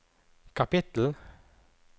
kapittel